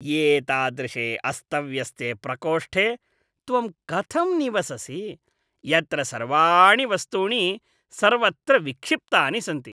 एतादृशे अस्तव्यस्ते प्रकोष्ठे त्वं कथं निवससि, यत्र सर्वाणि वस्तूनि सर्वत्र विक्षिप्तानि सन्ति?